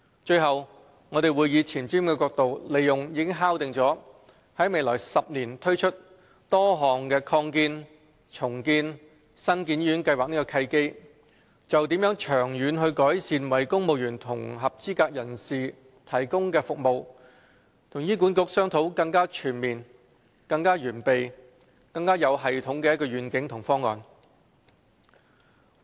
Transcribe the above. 最後，我們會以前瞻角度利用已敲定於未來10年推行多項擴建、重建及新建醫院計劃的契機，就長遠改善為公務員及合資格人士提供的服務與醫管局商討更全面、更完備、更有系統的願景和方案。